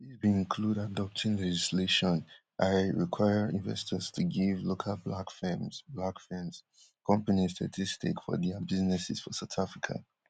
dis bin include adopting legislation ey require investors to give local black firms black firms [companies] thirty stake for dia businesses for south africa